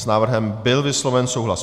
S návrhem byl vysloven souhlas.